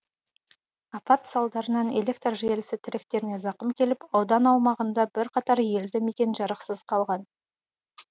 апат салдарынан электр желісі тіректеріне зақым келіп аудан аумағында бірқатар елді мекен жарықсыз қалған